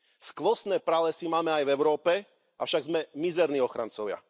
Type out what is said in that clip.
Skvostné pralesy máme aj v Európe, avšak sme mizerní ochrancovia.